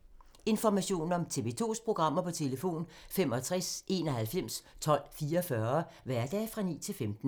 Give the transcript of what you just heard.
Information om TV 2's programmer: 65 91 12 44, hverdage 9-15.